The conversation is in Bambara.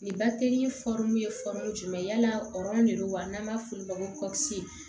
Nin bate ye jumɛn ye yala de don wa n'an b'a f'olu ma ko